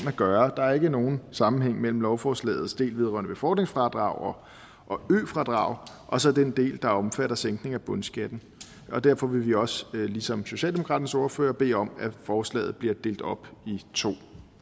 at gøre der er ikke nogen sammenhæng mellem lovforslagets del vedrørende befordringsfradrag og ø fradrag og så den del der omfatter sænkning af bundskatten derfor vil vi også ligesom socialdemokratiets ordfører bede om at forslaget bliver delt op i to